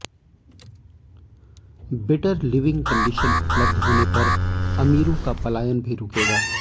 better living condition उपलब्ध होने पर अमीरों का पलायन भी रुकेगा